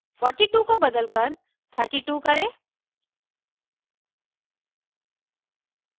42 को बदलकर 32 करें